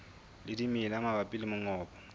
le dimela mabapi le mongobo